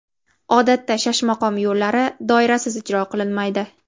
Odatda Shashmaqom yo‘llari doirasiz ijro qilinmaydi.